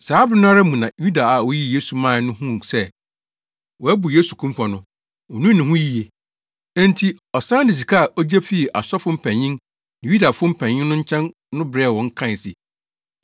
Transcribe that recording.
Saa bere no ara mu na Yuda a oyii Yesu mae no huu sɛ wɔabu Yesu kumfɔ no, onuu ne ho yiye. Enti ɔsan de sika a ogye fii asɔfo mpanyin ne Yudafo mpanyin no nkyɛn no brɛɛ wɔn kae se,